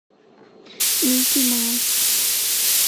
микки маус